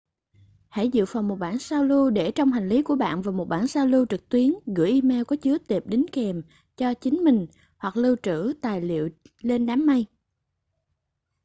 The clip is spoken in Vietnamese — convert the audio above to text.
hãy dự phòng một bản sao lưu để trong hành lý của bạn và một bản sao lưu trực tuyến gửi email có chứa tệp đính kèm cho chính mình hoặc lưu trữ tài liệu lên đám mây”